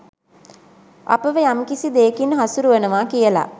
අපව යම්කිසි දෙයකින් හසුරුවනවා කියලා